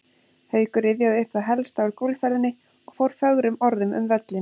Haukur rifjaði upp það helsta úr golfferðinni og fór fögrum orðum um völlinn.